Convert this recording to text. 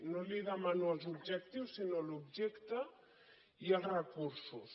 no li demano els objectius sinó l’objecte i els recursos